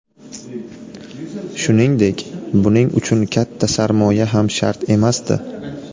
Shuningdek, buning uchun katta sarmoya ham shart emasdi.